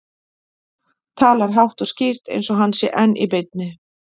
Talar hátt og skýrt eins og hann sé enn í beinni.